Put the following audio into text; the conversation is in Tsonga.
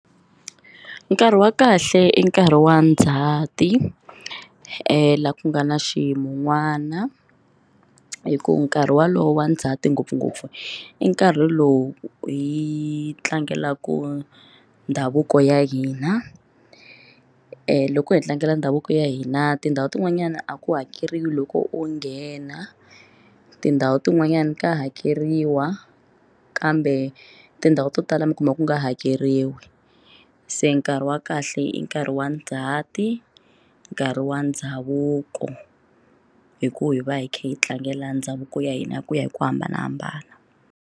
Nkarhi wa kahle i nkarhi wa Ndzhati laha ku nga na xiyin'wana hi ku nkarhi wolowo wa ndzhati ngopfungopfu i nkarhi lowu hi tlangelaka ndhavuko ya hina loko hi tlangela ndhavuko ya hina tindhawu tin'wanyana a ku hakeriwa loko u nghena tindhawu tin'wanyana ka hakeriwa kambe tindhawu to tala mi kuma ku nga hakeriwi rin'we se nkarhi wa kahle i nkarhi wa Ndzhati nkarhi wa ndhavuko hi ku hi va hi kha hi tlangela ndhavuko ya hina ku ya hi ku hambanahambana.